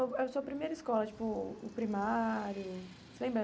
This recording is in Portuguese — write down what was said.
O a sua primeira escola, tipo, o primário, você lembra?